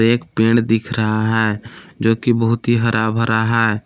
एक पेड़ दिख रहा है जोकि बहुत ही हरा भरा है।